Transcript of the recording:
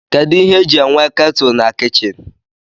Kedụ ihe e ji enwe ketụl na kichin?